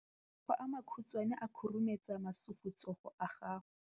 Matsogo a makhutshwane a khurumetsa masufutsogo a gago.